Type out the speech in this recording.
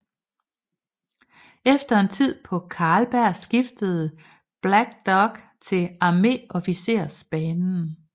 Efter en tid på Karlberg skiftede Balck dog til arméofficersbanen